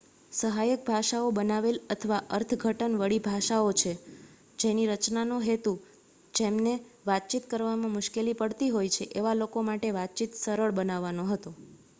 સહાયક ભાષાઓ બનાવેલ અથવા અર્થઘટન વળી ભાષાઓ છે જેની રચના નો હેતુ જેમને વાતચીત કરવામાં મુશ્કેલી પડતી હોય છે એવા લોકો માટે વાતચીત સરળ બનાવવાનો હતો